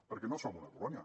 perquè no som una colònia